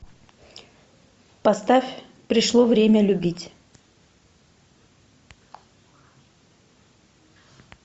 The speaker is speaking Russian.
поставь пришло время любить